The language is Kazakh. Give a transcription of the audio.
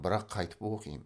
бірақ қайтіп оқимын